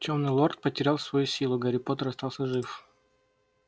тёмный лорд потерял свою силу гарри поттер остался жив